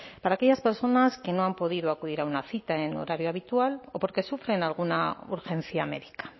para aquellas personas que no han podido acudir a una cita en horario habitual o porque sufren alguna urgencia médica